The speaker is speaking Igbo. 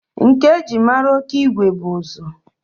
Nka e ji mara Okigwe bụ ụzụ